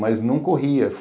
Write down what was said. Mas não corria.